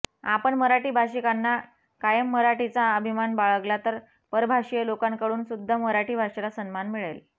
आपण मराठी भाषिकांनी कायम मराठीचा अभिमान बाळगला तर परभाषीय लोकांकडूनसुद्धा मराठी भाषेला सन्मान मिळेल